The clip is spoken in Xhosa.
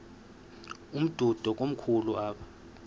umdudo komkhulu apha